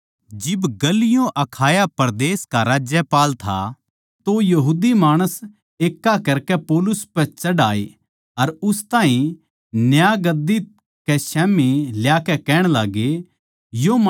जिब गल्लियो अखाया परदेस का राज्यपाल था तो यहूदी माणस एक्का करकै पौलुस पै चढ़ आये अर उस ताहीं न्याय गद्दी कै स्याम्ही ल्याकै कहण लाग्गे